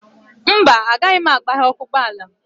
Mba, agaghị m agbaghe ọkụ ụgbọala m